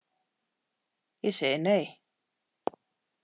Ég segi nei.